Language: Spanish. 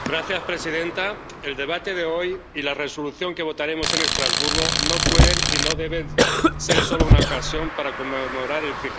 Señora presidenta, el debate de hoy y la resolución que votaremos en Estrasburgo no pueden y no deben ser solo una ocasión para conmemorar el